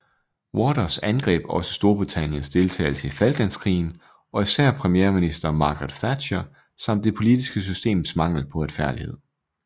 Waters angreb også Storbritanniens deltagelse i Falklandskrigen og især premierminister Margaret Thatcher samt det politiske systems mangel på retfærdighed